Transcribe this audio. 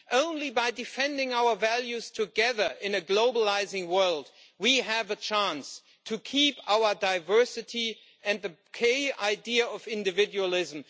Only by defending our values together in a globalising world do we have a chance of keeping our diversity and the key idea of individualism.